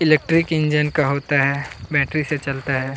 Electric engine का होता है बैटरी से चलता है।